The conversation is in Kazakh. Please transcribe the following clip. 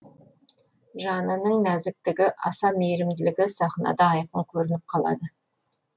жанының нәзіктігі аса мейірімділігі сахнада айқын көрініп қалады